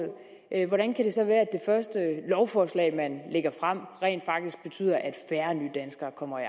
her hvordan kan det så være at det første lovforslag man lægger frem rent faktisk betyder at færre nydanskere kommer i